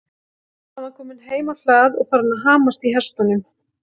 Hann var kominn heim á hlað og farinn að hamast í hestunum.